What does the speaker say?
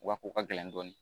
Wa ko ka gɛlɛn dɔɔni